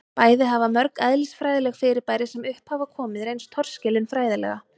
bæði hafa mörg eðlisfræðileg fyrirbæri sem upp hafa komið reynst torskilin fræðilega